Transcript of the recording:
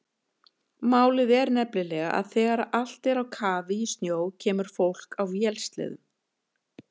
Málið er nefnilega að þegar allt er á kafi í snjó kemur fólk á vélsleðum.